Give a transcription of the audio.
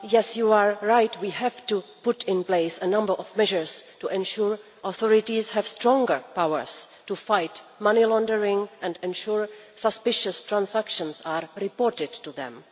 You are right that we have to put in place a number of measures to ensure that authorities have stronger powers to fight money laundering and that suspect transactions are reported to them.